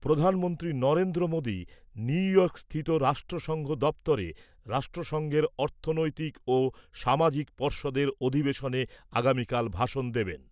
প্রধানমন্ত্রী নরেন্দ্র মোদি নিউইয়র্কস্থিত রাষ্ট্রসংঘ দপ্তরে রাষ্ট্রসংঘের অর্থনৈতিক ও সামাজিক পর্ষদের অধিবেশনে আগামীকাল ভাষণ দেবেন ।